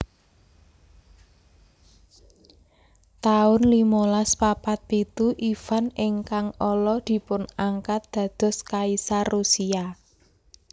taun limolas papat pitu Ivan ingkang Ala dipunangkat dados kaisar Rusia